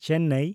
Chennai